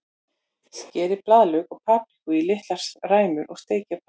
Skerið blaðlauk og paprikur í litlar ræmur og steikið á pönnu.